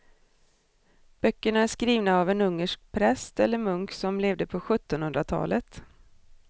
Böckerna är skrivna av en ungersk präst eller munk som levde på sjuttonhundratalet.